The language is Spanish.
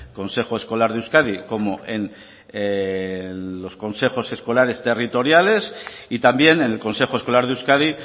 consejo escolar de euskadi como en los consejos escolares territoriales y también en el consejo escolar de euskadi